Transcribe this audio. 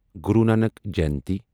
Guru Nanak Jayanti